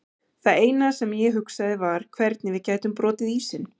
Það eina sem ég hugsaði um var hvernig við gætum brotið ísinn.